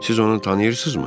Siz onu tanıyırsınızmı?